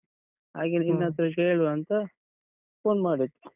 ಹಾಗೆ ನಿನ್ ಹತ್ರ ಕೇಳುವಾ ಅಂತ phone ಮಾಡಿದ್ದು.